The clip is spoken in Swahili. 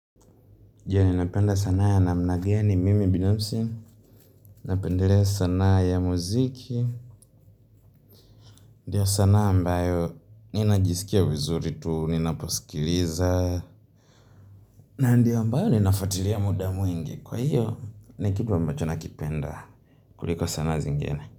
Jee ninapenda sanaa ya namna gani mimi binafsi. Napendelea sanaa ya muziki. Ndio sanaa ambayo ni najisikia vizuri tu. Ninaposikiliza. Ndio ambayo ninafwatilia muda mwingi. Kwa hiyo, ni kitu ambacho na kipenda. Kuliko sanaa zingine.